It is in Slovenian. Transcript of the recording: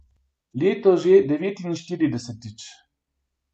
Letos že devetinštiridesetič.